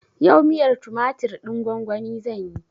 Yau miyar tumatir ɗin gwan-gwani zanyi.